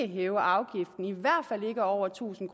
hæve afgiften i hvert fald ikke over tusind